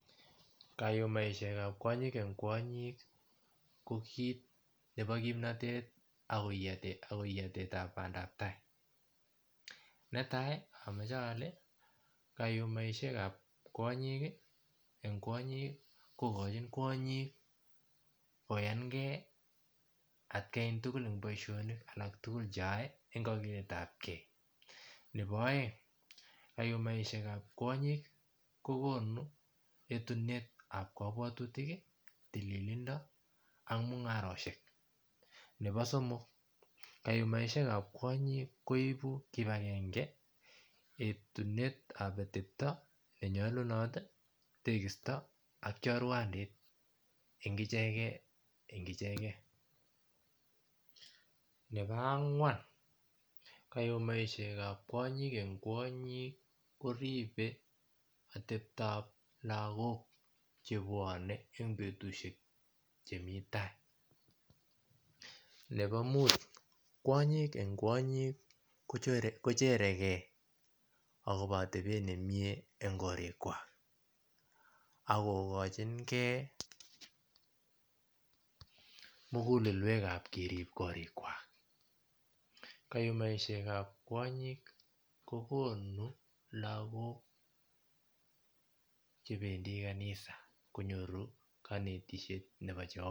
Kayumaishekab kwonyik en kwonyik ko kit nebo kimnotet akoiyotetab bandab tai netai amoche ole kayumaishekab kwonyik en kwonyik ko kochin kwonyiki koyankee atkan tugul en boishoilni alak tugul cheyoe en kakiletab Kee nepo oeng kayumaishekab kwonyik kokonu etunetap kobwotutiki tililindo ang mungaroshek nepo somok kayumaishekab kwonyik koibu kipakenge etunetab otepto nenyolunoti tekisto ak chorwndit en ichek en icheken nepo angwan kayumaishekab kwonyik en kwonyik koribe oteptab lagok chebwone en betushek chemita nepo muut kwonyik en kwonyik kocherekee akobo otebet nemie en korikwak ak kokochiknkee mugulelwekab kerib korikwak kayumaishekab kwonyik kokonu lagok chependi kabisa konyoru konetishet nepo jehova